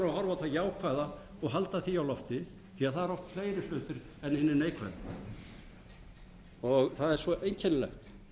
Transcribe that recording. það jákvæða og halda því á lofti því það eru oft fleiri stuttir en hinir neikvæðu og það er svo einkennilegt